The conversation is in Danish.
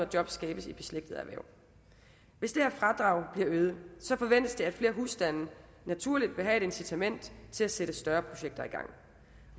jobs skabes i beslægtede erhverv hvis det her fradrag bliver øget forventes det at flere husstande naturligt vil have et incitament til at sætte større projekter i gang